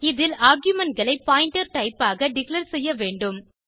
இதில் argumentகளை pointer type யாக டிக்ளேர் செய்ய வேண்டும்